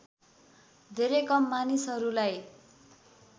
धेरै कम मानिसहरूलाई